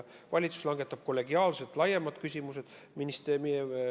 Valitsus langetab kollegiaalselt otsused laiemates küsimustes.